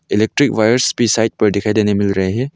Electric wires भी side पर दिखाई देने मिल रहे है।